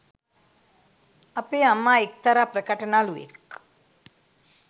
අපේ අම්මා එක්තරා ප්‍රකට නළුවෙක්